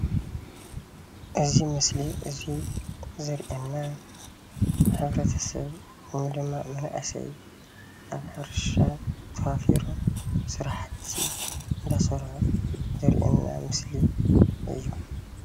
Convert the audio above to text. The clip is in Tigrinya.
እዚ ምስሊ እዚ ዘርእየና ሕ/ሰብ ወይ ድማ መናእሰይ ኣብ ሕርሻ ተዋፊሮም ስራሕቲ እናሰርሑ ዘርእየና ምስሊ እዩ፡፡